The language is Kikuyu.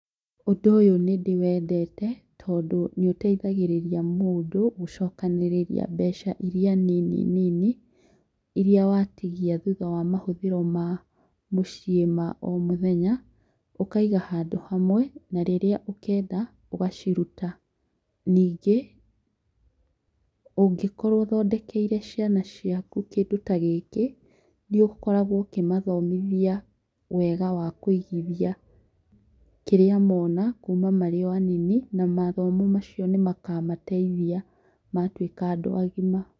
Ũndũ ũyũ nĩndĩwendete tondũ nĩũteithagĩrĩria mũndũ gũcokanĩrĩria mbeca iria nini nini, iria watigia thutha wa mahũthĩro ma mũciĩ ma o mũthenya. ũkaiga handũ hamwe, na rĩrĩa ũkenda ũgaciruta. Nyingĩ, ũngĩkorwo ũthondekeire ciana ciaku kĩndũ tagĩkĩ, nĩũkoragwo ũkĩmathomithia wega wakũigithia kĩrĩa mona kuma marĩ o anini na mathomo macio nĩmakamateithia matuĩka andũ agima.